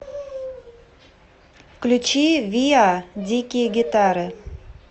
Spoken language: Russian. включи виа дикие гитары